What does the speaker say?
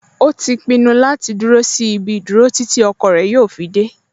O ti pinnu láti dúró sí ibi ìdúró títí ọkọ rẹ̀ yóò fi dẹ́